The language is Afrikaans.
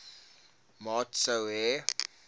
maat sou hê